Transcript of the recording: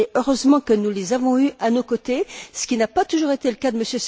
heureusement, nous les avons eus à nos côtés, ce qui n'a pas toujours été le cas de M.